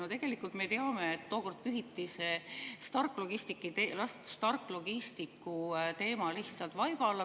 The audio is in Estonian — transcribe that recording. No tegelikult me teame, et tookord pühiti see Stark Logisticsi teema lihtsalt vaiba alla.